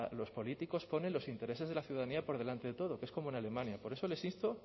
los políticos ponen los intereses de la ciudadanía por delante de todo que es como en alemania por eso les insto